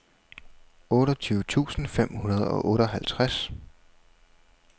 otteogtyve tusind fem hundrede og otteoghalvtreds